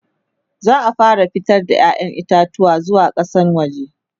za'a fara fitar da ƴaƴan itatuwa zuwa kasan waje